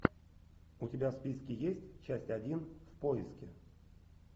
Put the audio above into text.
у тебя в списке есть часть один в поиске